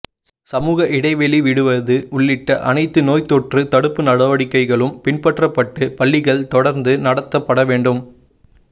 சமூக இடைவெளி விடுவது உள்ளிட்ட அனைத்து நோய் தொற்று தடுப்பு நடவடிக்கைகளும் பின்பற்றப்பட்டு பள்ளிகள் தொடர்ந்து நடத்தப்பட வேண்டும்